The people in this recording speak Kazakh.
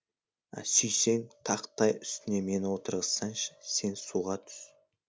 сүйсең тақтай үстіне мені отырғызсаңшы сен суға түс